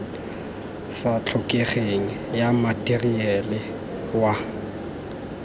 sa tlhokegeng ya matheriale wa